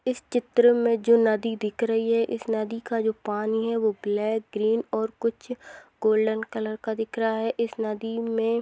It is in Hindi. इस चित्र मे जो नदी दिख रही है इस नदी का जो पानी है वो ब्लैक ग्रीन और कुछ गोल्डन कलर का दिख रहा है इस नदी मे--